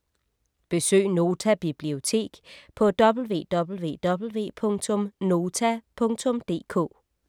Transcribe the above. Besøg Nota Bibliotek på www.nota.dk